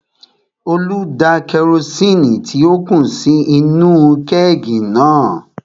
Olú da kerosini tí ó kù sí inú-u kẹ́ẹ̀gì náà